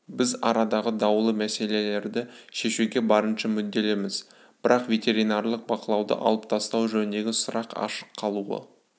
біз арадағы даулы мәселелерді шешуге барынша мүдделіміз бірақ ветеринарлық бақылауды алып тастау жөніндегі сұрақ ашық қалуы